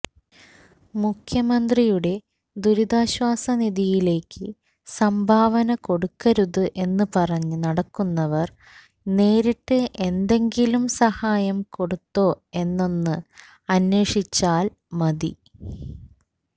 മുഖ്യമന്ത്രിയുടെ ദുരിതാശ്വാസ നിധിയിലേക്ക് സംഭാവന കൊടുക്കരുത് എന്ന് പറഞ്ഞ് നടക്കുന്നവര് നേരിട്ട് എന്തെങ്കിലും സഹായം കൊടുത്തോ എന്നൊന്ന് അന്വേഷിച്ചാല് മതി